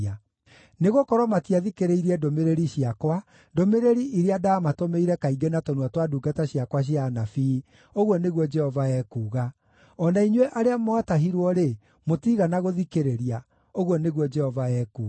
Nĩgũkorwo matiathikĩrĩirie ndũmĩrĩri ciakwa, ndũmĩrĩri iria ndaamatũmĩire kaingĩ na tũnua twa ndungata ciakwa cia anabii”, ũguo nĩguo Jehova ekuuga “O na inyuĩ arĩa mwatahirwo-rĩ, mũtiigana gũthikĩrĩria,” ũguo nĩguo Jehova ekuuga.